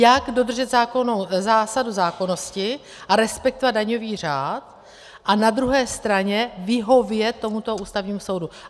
Jak dodržet zásadu zákonnosti a respektovat daňový řád a na druhé straně vyhovět tomuto Ústavnímu soudu.